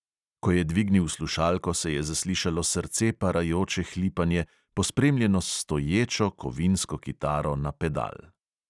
Ko je dvignil slušalko, se je zaslišalo srce parajoče hlipanje, pospremljeno s stoječo kovinsko kitaro na pedal.